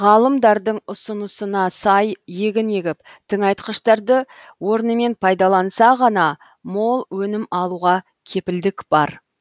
ғалымдардың ұсынысына сай егін егіп тыңайтқыштарды орнымен пайдаланса ғана мол өнім алуға кепілдік бар